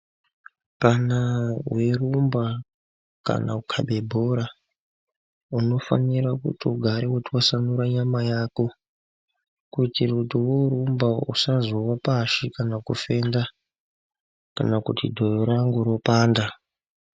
Kana weirumba kana kukabe bhora unofanira kuti ugare weitwasanura nyama yako. Kutira kuti woorumba usazowa pashi kana kufenda kana kuti dhoyo rangu ropanda.